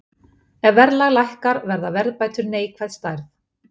Ef verðlag lækkar verða verðbætur neikvæð stærð.